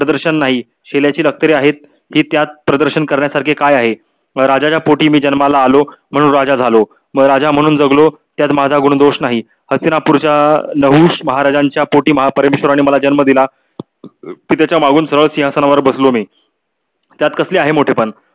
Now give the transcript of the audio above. म्हणून राजा झालो. मग राजा म्हणून जगलो. त्यात माझा गुण दोष नाही. हस्तिनपूरच्या अं नहुश महाराजांच्या पोटी महापरमेश्वरणे मला जन्म दिला. सिहसनावर बसलो मी. त्यात कसले आहे मोठे पण